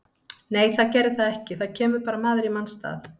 Nei það gerði það ekki, það kemur bara maður í manns stað.